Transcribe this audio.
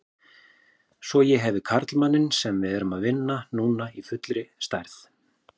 Svo ég hefi karlmanninn sem við erum að vinna núna í fullri stærð.